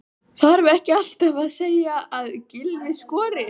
Þarf ekki alltaf að segja að Gylfi skori?